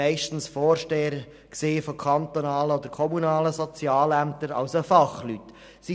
Meist handelte es sich um Vorsteher von kantonalen oder kommunalen Sozialämtern, also um Fachleute.